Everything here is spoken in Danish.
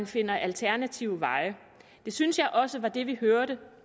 finder alternative veje det synes jeg også var det vi hørte